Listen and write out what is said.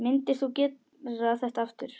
Myndir þú gera þetta aftur?